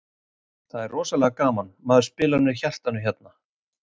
Það er rosalega gaman, maður spilar með hjartanu hérna.